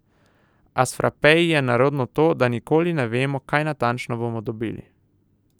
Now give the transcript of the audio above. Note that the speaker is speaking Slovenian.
A s frapeji je nerodno to, da nikoli ne vemo, kaj natančno bomo dobili.